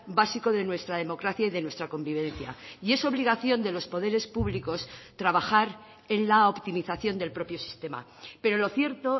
básico de nuestra democracia y de nuestra convivencia y es obligación de los poderes públicos trabajar en la optimización del propio sistema pero lo cierto